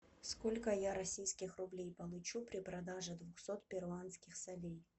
сколько я российских рублей получу при продаже двухсот перуанских солей